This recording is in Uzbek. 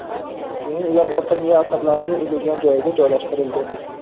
Keyin, ular orqa miya asablarining uzilgan joyiga joylashtirildi”.